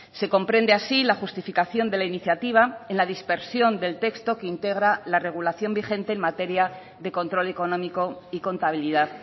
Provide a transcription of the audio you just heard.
se comprende así la justificación de la iniciativa en la dispersión del texto que integra la regularización vigente en materia de control económico y contabilidad